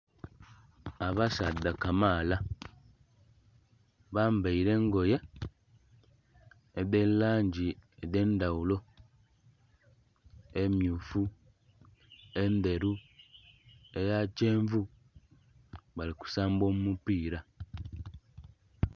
Abasaadha kamaala bambaire engoye edhe langi edhe ndhaghulo emmyufu, endheru, eya kyenvu bali kusamba omupira.